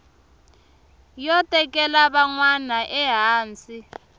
yo tekela van wana ehansi